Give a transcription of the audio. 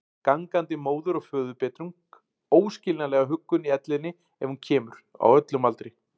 Gangandi móður- og föðurbetrung, óskiljanlega huggun í ellinni ef hún kemur, á öllum aldri.